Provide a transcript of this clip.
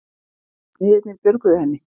Smiðirnir björguðu henni